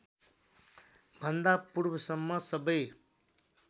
भन्दा पूर्वसम्म सबै